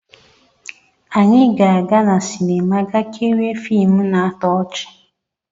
Anyị ga-aga na sinima ga kirie fiimu na-atọ ọchị.